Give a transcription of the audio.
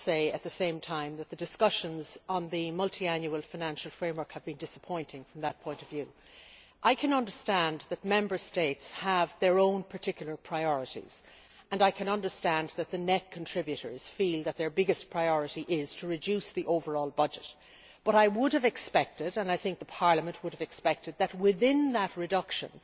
at the same time the discussions on the multiannual financial framework have been disappointing from that point of view. I can understand that Member States have their own particular priorities and I can understand that the net contributors feel that their biggest priority is to reduce the overall budget, but I would have expected and I think Parliament would have expected that within that reduction